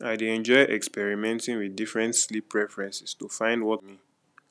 i dey enjoy experimenting with different sleep preferences to find what work best for me